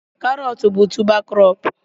carrots bụ tubá krobú